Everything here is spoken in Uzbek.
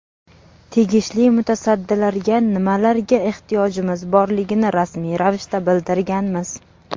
Tegishli mutasaddilarga nimalarga ehtiyojimiz borligini rasmiy ravishda bildirganmiz.